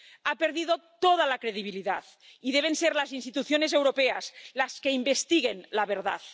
Ha perdido toda la credibilidad y deben ser las instituciones europeas las que investiguen la verdad.